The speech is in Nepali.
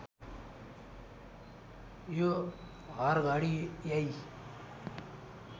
यो हरघडी यै